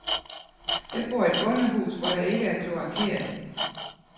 Jeg bor i et bondehus, hvor der ikke er kloakeret.